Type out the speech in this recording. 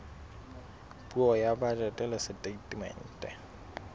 puo ya bajete le setatemente